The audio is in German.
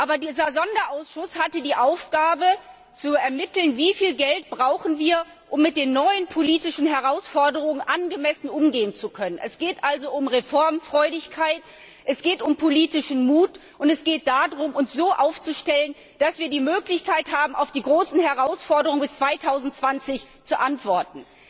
Doch dieser Sonderausschuss hatte die Aufgabe, zu ermitteln, wie viel Geld wir brauchen, um mit den neuen politischen Herausforderungen angemessen umgehen zu können. Es geht also um Reformfreudigkeit, um politischen Mut, und es geht darum, uns so aufzustellen, dass wir die Möglichkeit haben, auf die großen Herausforderungen bis 2020 zu antworten.